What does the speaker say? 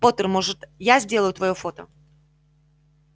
поттер можно я сделаю твоё фото